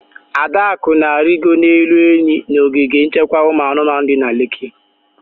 Adaku na-arigoro n'elu enyi n'ogige nchekwa ụmụ anụmanụ di na Leki